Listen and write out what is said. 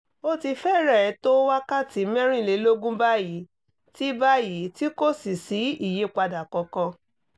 ó ti fẹ́rẹ̀ẹ́ tó wákàtí mẹ́rìnlélógún báyìí tí báyìí tí kò sì sí ìyípadà kankan